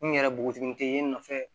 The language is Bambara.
Mun yɛrɛ bogotiginin te yen n nɔfɛ